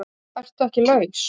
ERTU EKKI LAUS?